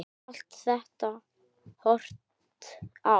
Allt þetta hottar á.